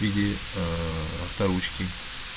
или ээ авторучки